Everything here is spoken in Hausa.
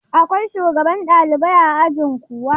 Akwai shugaban ɗalibai a ajin kuwa?